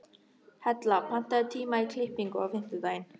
Hella, pantaðu tíma í klippingu á fimmtudaginn.